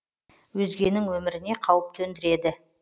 өзгенің өміріне қауіп төндіреді